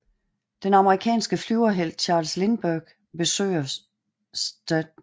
Den amerikanske flyverhelt Charles Lindberg besøger St